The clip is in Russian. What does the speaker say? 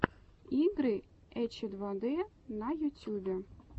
игры эчедвадэ на ютюбе